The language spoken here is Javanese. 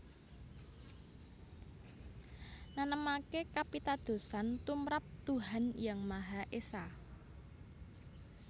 Nanemaké kapitadosan tumrap Tuhan Yang Maha Esa